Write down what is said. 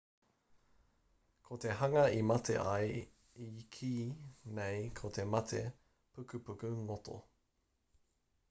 ko te hanga i mate ai i kī nei ko te mate pukupuku ngoto